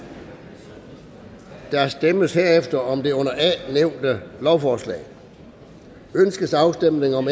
der stemmes derefter om det under a nævnte lovforslag ønskes afstemning om